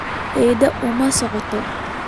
Eedo uma socdo